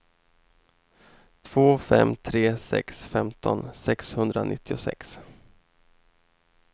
två fem tre sex femton sexhundranittiosex